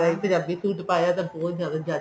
Punjabi suit ਪਾਇਆ ਤਾਂ ਬਹੁਤ ਜਿਆਦਾ